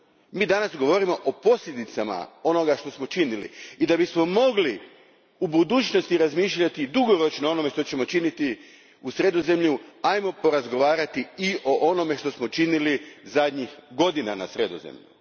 Mi danas govorimo o posljedicama onoga što smo činili i da bismo mogli u budućnosti razmišljati dugoročno o onome što ćemo činiti u Sredozemlju, porazgovarajmo i o onome što smo činili zadnjih godina na Sredozemlju.